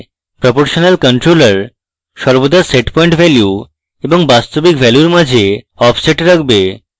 proportional controller সর্বদা setpoint value এবং বাস্তবিক ভ্যালুর মাঝে offset রাখবে